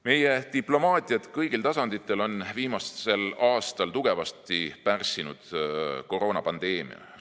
Meie diplomaatiat kõigil tasanditel on viimasel aastal tugevasti pärssinud koroonapandeemia.